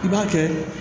I b'a kɛ